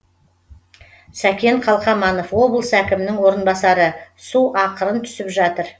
сәкен қалқаманов облыс әкімінің орынбасары су ақырын түсіп жатыр